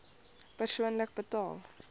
persoonlik betaal